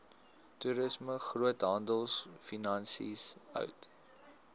toerisme groothandelfinansies hout